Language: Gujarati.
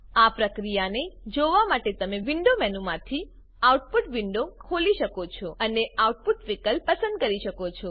આ પ્રક્રિયાને જોવા માટે તમે વિન્ડો મેનુમાંથી આઉટપુટ વિન્ડો ખોલી શકો છો અને આઉટપુટ વિકલ્પ પસંદ કરી શકો છો